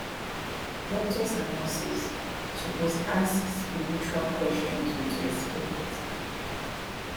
doctors and nurses suppose ask spiritual questions with respect